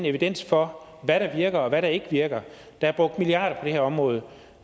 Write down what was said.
evidens for hvad der virker og hvad der ikke virker der er brugt milliarder på det her område og